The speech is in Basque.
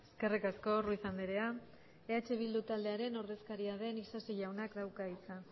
eskerrik asko ruiz andrea eh bildu taldearen ordezkaria den isasi jaunak dauka hitza